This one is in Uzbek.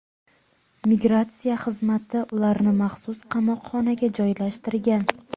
Migratsiya xizmati ularni maxsus qamoqxonaga joylashtirgan.